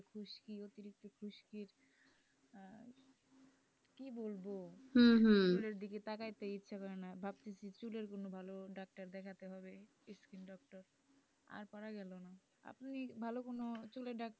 চুলের দিকে তাকাতে ইচ্ছা করে না ভাবতেছি চুলের কোন ভালো ডাক্তার দেখাতে হবে skin doctor আর পারা গেলো না, আপনি ভালো কোন চুলের ডাক্তার,